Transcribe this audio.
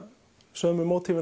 sömu